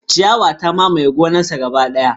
Ciyawar ta mamaye gonarsa gaba daya.